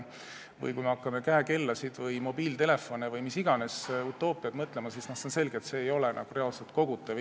Või kui me hakkame käekellasid või mobiiltelefone maksustama või mis iganes utoopiat välja mõtlema, siis on selge, et see maks ei ole reaalset kogutav.